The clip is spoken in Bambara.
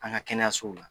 An ka kɛnɛyasow la